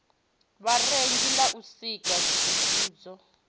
vharengi ḽa u sika tsivhudzo